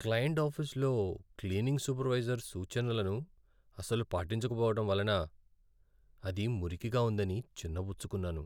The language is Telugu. క్లయింట్ ఆఫీసులో క్లీనింగ్ సూపర్వైజర్ సూచనలను అసలు పాటించకపోవడం వలన అది మురికిగా ఉందని చిన్నబుచ్చుకున్నాను.